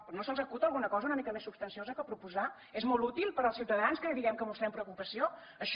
però no se’ls acut alguna cosa una mica més substanciosa per proposar és molt útil per als ciutadans que diguem que mostrem preocupació això